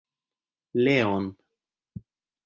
Leon